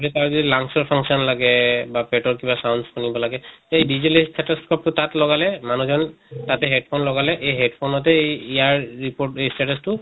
তাৰ যদি lungs ৰ function লাগে বা পেটৰ কিবা sounds শুনিব লাগে সেই digital stethoscope টো তাত লগালে মানুহ জন তাত headphone লগালে এই headphone তে ইয়াৰ report status টো